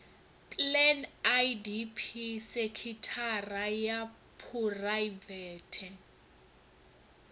plan idp sekithara ya phuraivete